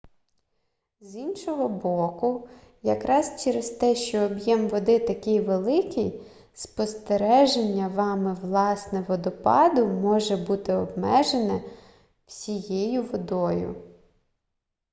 з іншого боку якраз через те що об'єм води такий великий спостереження вами власне водопаду може бути обмежене всією водою